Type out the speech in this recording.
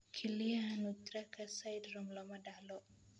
Kelyaha nutcracker syndrome lama dhaxlo.